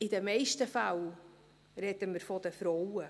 In den meisten Fällen sprechen wir von den Frauen.